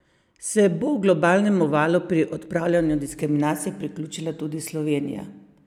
Se bo globalnemu valu pri odpravljanju diskriminacije priključila tudi Slovenija?